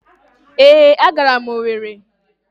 ee, agara m Owere.